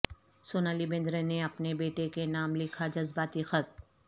سونالی بیندرے نے اپنے بیٹے کے نام لکھا جذباتی خط